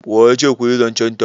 wa ya ce ku yi zancenta